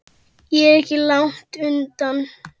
Ég er ekki langt undan.